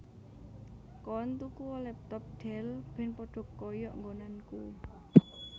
Koen tukuo laptop Dell ben podo koyok nggonanku